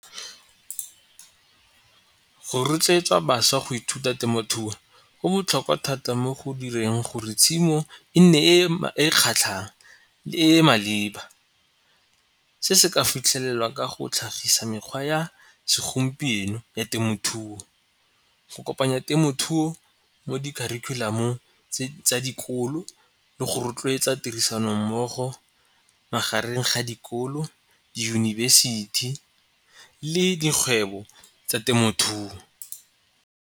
Go rotloetsa bašwa go ithuta temothuo go botlhokwa thata mo go direng gore tshimo e nne e e kgatlhang e e maleba. Se se ka fitlhelelwa ka go tlhagisa mekgwa ya segompieno ya temothuo. Go kopanya temothuo mo dikharikhulamong tsa dikolo le go rotloetsa tirisano mmogo magareng ga dikolo, diyunibesithi le dikgwebo tsa temothuo.